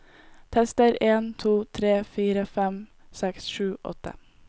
Tester en to tre fire fem seks sju åtte